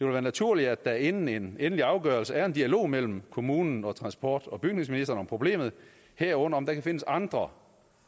være naturligt at der inden en endelig afgørelse er en dialog mellem kommunen og transport og bygningsministeren om problemet herunder om der kan findes andre